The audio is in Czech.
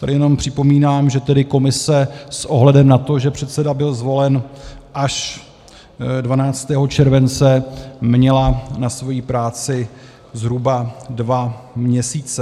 Tady jenom připomínám, že tedy komise s ohledem na to, že předseda byl zvolen až 12. července, měla na svoji práci zhruba dva měsíce.